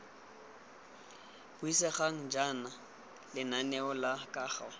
buisegang jaana lenaneo la kago